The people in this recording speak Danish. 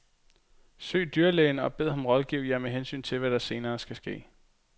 Søg dyrlægen og bed ham rådgive jer med hensyn til, hvad der senere skal ske.